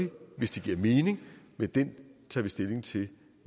hvis det giver mening men det tager vi stilling til